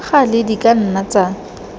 gale di ka nna tsa